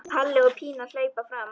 Palli og Pína hlaupa fram.